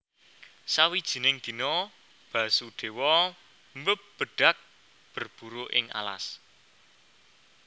Sawijining dina Basudéwa mbebedhag berburu ing alas